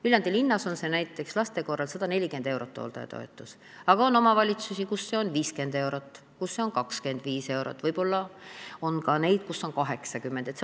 Viljandi linnas on see näiteks laste hooldamise korral 140 eurot, aga on omavalitsusi, kus see on 50 eurot või 25 eurot, võib-olla on ka neid omavalitsusi, kus see on 80 eurot.